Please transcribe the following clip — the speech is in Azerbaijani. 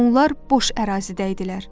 Onlar boş ərazidə idilər.